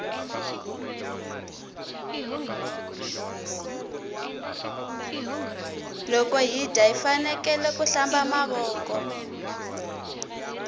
loko hi dya hifanekele ku hlamba mavoko